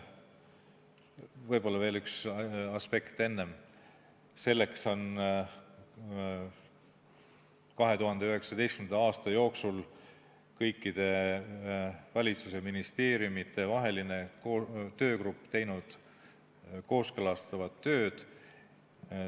Võib-olla enne veel üks aspekt: selleks on 2019. aasta jooksul kõikide valitsuse ministeeriumide vaheline töögrupp teinud kooskõlastavat tööd.